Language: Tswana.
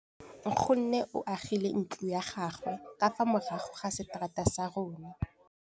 Nkgonne o agile ntlo ya gagwe ka fa morago ga seterata sa rona.